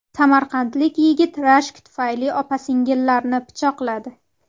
Samarqandlik yigit rashk tufayli opa-singillarni pichoqladi.